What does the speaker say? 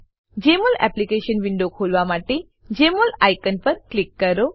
જમોલ application window ખોલવા માટે Jmol icon પર ક્લિક કરો